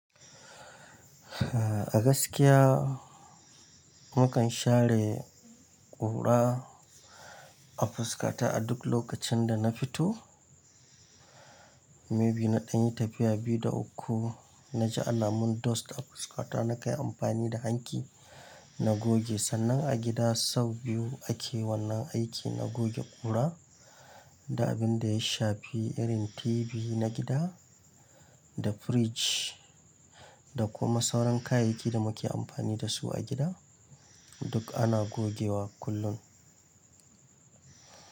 A gaskiya mu kan share ƙura a fuskata a duk lokacin da na fito. Maybe na ɗan yi tafiya biyu da uku na ji ana mun dust a fuskata. Na kai amfani da hanki na goge, sannan a gida sau biyu ake wannan aiki na goge ƙura da abin da ya shafi irin TV na gida da fridge da kuma sauran kayakin da muke amfani da su a gida duk ana gogewa kullum.